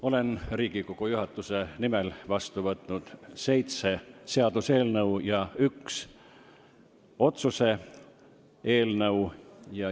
Olen Riigikogu juhatuse nimel vastu võtnud seitse seaduseelnõu ja ühe otsuse eelnõu.